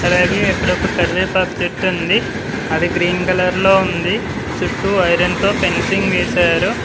అలాగే అక్కడ ఒక కరివేపాకు చెట్టు ఉంది అది గ్రీన్ కలర్ లో ఉంది చుట్టూ ఐరన్ తో ఫెన్సింగ్ వేశారు.